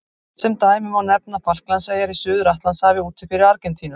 Sem dæmi má nefna Falklandseyjar í Suður-Atlantshafi úti fyrir Argentínu.